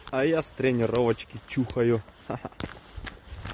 а я с тренировочки чухаю ха-ха